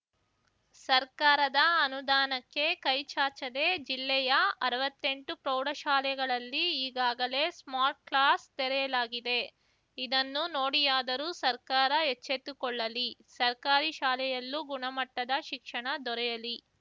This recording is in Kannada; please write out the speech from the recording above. ಸರ್ಕಾರದ ಅನುದಾನಕ್ಕೆ ಕೈಚಾಚದೆ ಜಿಲ್ಲೆಯ ಅರ್ವತ್ತೆಂಟು ಪ್ರೌಢ ಶಾಲೆಗಳಲ್ಲಿ ಈಗಾಗಲೇ ಸ್ಮಾರ್ಟ್‌ಕ್ಲಾಸ್‌ ತೆರೆಯಲಾಗಿದೆ ಇದನ್ನು ನೋಡಿಯಾದರೂ ಸರ್ಕಾರ ಎಚ್ಚೆತ್ತುಕೊಳ್ಳಲಿ ಸರ್ಕಾರಿ ಶಾಲೆಯಲ್ಲೂ ಗುಣಮಟ್ಟದ ಶಿಕ್ಷಣ ದೊರೆಯಲಿ